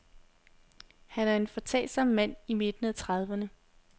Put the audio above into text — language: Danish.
Han er en foretagsom mand i midten af trediverne.